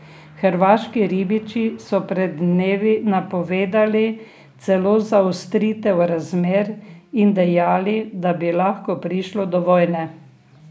Hrvaški ribiči so pred dnevi napovedali celo zaostritev razmer in dejali, da bi lahko prišlo do vojne.